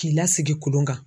K'i lasigi kolon kan.